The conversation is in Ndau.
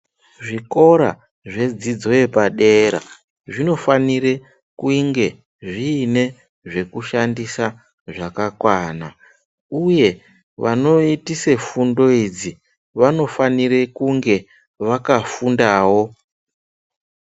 Zvikora zvedzidzo yepadera zvinofania kuge zviine zvekushandisa zvakakwana uye vanoitise fundo idzi vanofanire kunge vakafundawo.